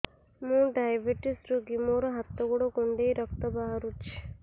ମୁ ଡାଏବେଟିସ ରୋଗୀ ମୋର ହାତ ଗୋଡ଼ କୁଣ୍ଡାଇ ରକ୍ତ ବାହାରୁଚି